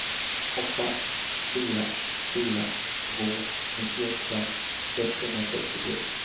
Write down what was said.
åtta fyra fyra två nittioåtta etthundrasextiotre